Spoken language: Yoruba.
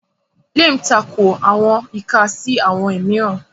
Liam tako awọn ika ika si awọn miiran